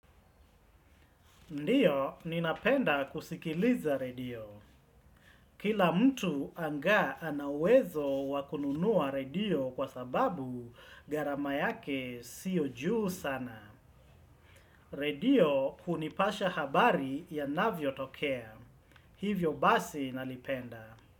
Ndio napenda kusikiliza redio kila mtu angaa ana uwezo wa kununua redio kwa sababu gharama yake siyo juu sana. Redio hunipasha habari yanavyotokea. Hivyo basi nalipenda.